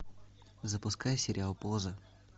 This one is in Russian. запускай сериал поза